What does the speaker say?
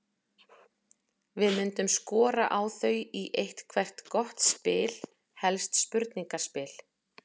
Við myndum skora á þau í eitthvert gott spil, helst spurningaspil.